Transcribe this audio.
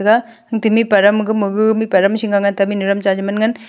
ega mihpa ram ga ga mihpa Azam cha che man ngan.